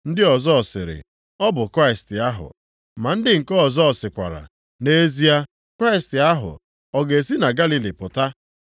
Ndị ọzọ sịrị, “Ọ bụ Kraịst ahụ.” Ma ndị nke ọzọ sịkwara, “Nʼezie Kraịst ahụ, ọ ga-esi na Galili pụta?